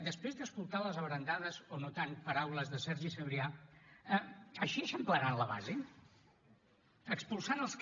després d’escoltar les abrandades o no tant paraules de sergi sabrià així eixamplaran la base expulsant els que